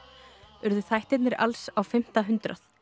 urðu þættirnir alls á fimmta hundrað